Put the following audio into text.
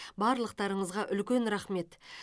барлықтарыңызға үлкен рахмет